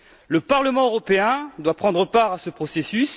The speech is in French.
Le Parlement européen doit prendre part à ce processus.